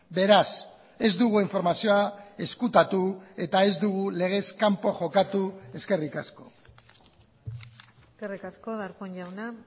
beraz ez dugu informazioa ezkutatu eta ez dugu legez kanpo jokatu eskerrik asko eskerrik asko darpón jauna